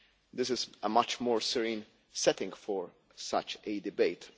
This is a much more serene setting for such a debate.